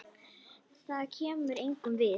Það kemur engum við.